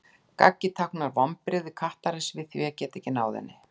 gaggið táknar vonbrigði kattarins við því að geta ekki náð henni